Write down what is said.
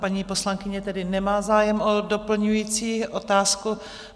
Paní poslankyně tedy nemá zájem o doplňující otázku.